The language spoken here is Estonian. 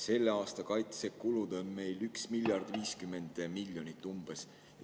Selle aasta kaitsekulud on meil umbes 1 miljard ja 50 miljonit.